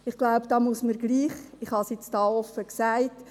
Ich habe es nun hier offen gesagt.